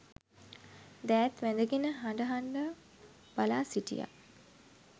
දෑත් වැඳගෙන හඬ හඬා බලා සිටියා